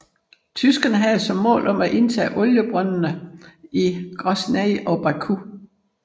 Tyskerne havde som mål at indtage oliebrøndende i Grosnyj og Baku